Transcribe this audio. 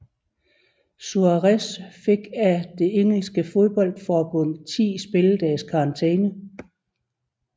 Suárez fik af det engelske fodboldforbund ti spilledages karantæne